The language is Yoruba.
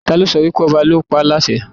Ta ló sọ wípé ọba ni ó pa á láṣẹ